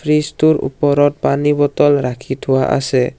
Fridge টোৰ ওপৰত পানী বটল ৰাখি থোৱা আছে।